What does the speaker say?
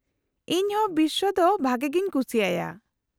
-ᱤᱧ ᱦᱚᱸ ᱵᱤᱥᱥᱚ ᱫᱚ ᱵᱷᱟᱜᱮ ᱜᱮᱧ ᱠᱩᱥᱤᱭᱟᱭᱟ ᱾